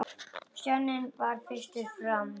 Stjáni varð fyrstur fram.